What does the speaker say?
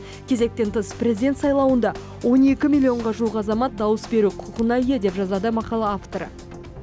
кезектен тыс президент сайлауында он екі миллионға жуық азамат дауыс беру құқығына ие деп жазады мақала авторы